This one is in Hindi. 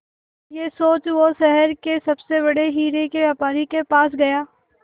यह सोच वो शहर के सबसे बड़े हीरे के व्यापारी के पास गया